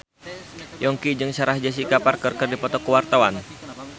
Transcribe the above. Yongki jeung Sarah Jessica Parker keur dipoto ku wartawan